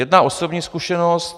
Jedna osobní zkušenost.